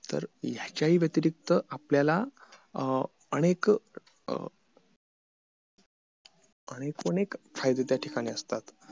तर याच्या हि व्यतिरिक्त आपल्याला अनेक अनेक एकूणे फायदे त्या ठिकाणी असतात